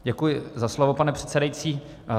Děkuji za slovo, pane předsedající.